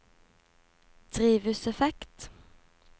drivhuseffekt